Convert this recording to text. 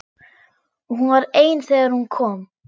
Og hún var ein þegar hún kom.